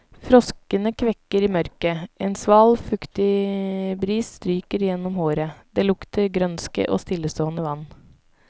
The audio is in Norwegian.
Froskene kvekker i mørket, en sval, fuktig bris stryker gjennom håret, det lukter grønske og stillestående vann.